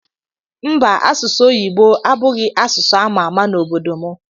Mba asụsụ oyibo abughi asụsụamama na obodo mu